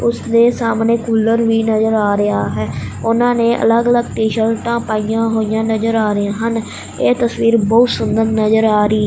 ਉਸਦੇ ਸਾਹਮਣੇ ਕੂਲਰ ਵੀ ਨਜ਼ਰ ਆ ਰਿਹਾ ਹੈ ਉਹਨਾਂ ਨੇ ਅਲੱਗ ਅਲੱਗ ਟੀ ਸ਼ਰਟਾਂ ਪਾਈਆਂ ਹੋਈਆਂ ਨਜ਼ਰ ਆ ਰਹੇ ਹਨ ਇਹ ਤਸਵੀਰ ਬਹੁਤ ਸੁੰਦਰ ਨਜ਼ਰ ਆ ਰਹੀ--